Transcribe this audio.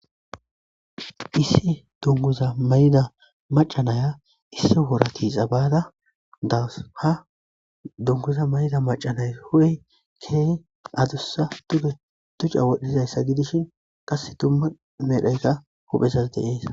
Issi dunguza mayida maca Naya issi wora tiixa bada daws. ha duguza mayida mayis hu'ey keehi adusa duge duca wodhizaysa gidishin qase duma medhoy hu'ezas de'es